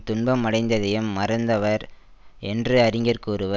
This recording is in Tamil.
துன்பம் அடைந்ததையும் மறந்தவர் என்று அறிஞர் கூறுவ